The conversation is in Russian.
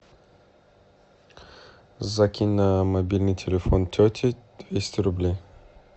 закинь на мобильный телефон тети двести рублей